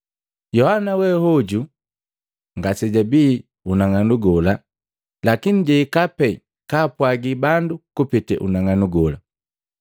Yohana we hoju ngasejabii unang'anu gola, lakini jahika pee kaapwagi bandu kupete unang'anu gola.